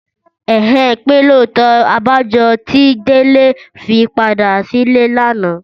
Ẹ̀hẹ́n! Pé lóòótọ́! Abájọ tí Délé fi padà sílé lánàá.